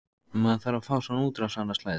Maður þarf að fá svona útrás annað slagið.